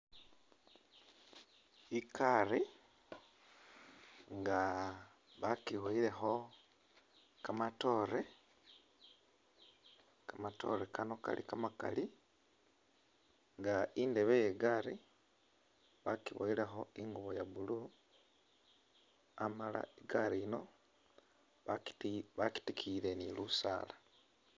I'gaari nga bakiboyilekho kamatoore, kamatoore kano kali kamakali nga indebe ye i'gaari bakiboyilekho ingubo ya blue amala i'gaari yino baki bakitikiyile ni lusaala.